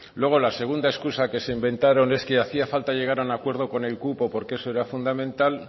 luego la segunda excusa que se inventaron es que hacía falta llegar a un acuerdo con el cupo porque eso era fundamental